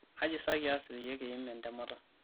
kaji sa kias peeyie kiim entemata